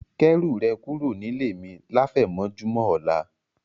Kẹ́rù rẹ̀ kúrò nílé mi láfẹ̀mọ́júmọ̀ ọ̀la